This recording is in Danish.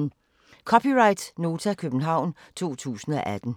(c) Nota, København 2018